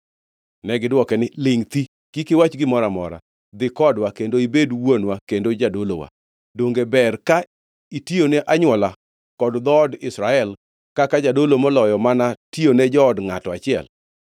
Negidwoke niya, “Lingʼ thi! Kik iwach gimoro amora. Dhi kodwa, kendo ibed wuonwa kendo jadolowa. Donge ber ka itiyone anywola kod dhoot Israel kaka jadolo moloyo mana tiyone jood ngʼato achiel?”